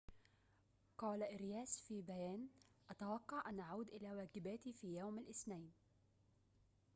قال أرياس في بيان أتوقع أن أعود إلى واجباتي في يوم الاثنين